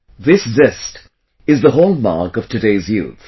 This zest is the hallmark of today's youth